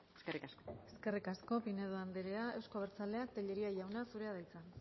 eskerrik asko eskerrik asko pinedo andrea euzko abertzaleak tellería jauna zurea da hitza